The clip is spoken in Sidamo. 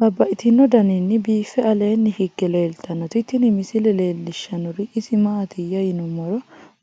Babaxxittinno daninni biiffe aleenni hige leelittannotti tinni misile lelishshanori isi maattiya yinummoro